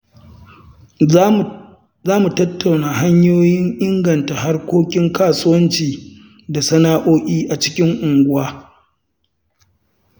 Za mu tattauna hanyoyin inganta harkokin kasuwanci da sana'o'i a cikin unguwa.